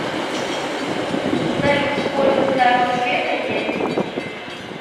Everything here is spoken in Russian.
салют сколько сторон света есть